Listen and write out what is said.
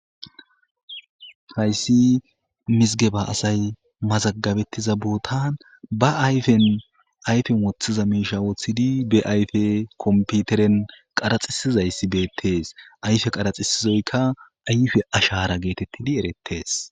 hayssi misige ba asay mazagabettiza bootan ba ayfen ayfen woththiza miisha woththidi be ayfe komputeren qaraxisizayssi beettees ayfe qaraxisizoyka ayfe ashara geetettidi erettees